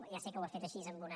ja sé que ho ha fet així amb una